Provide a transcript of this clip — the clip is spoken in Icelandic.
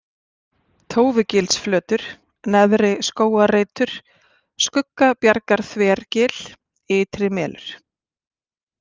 Tófugilsflötur, Neðri-Skógarreitur, Skuggabjargarþvergil, Ytrimelur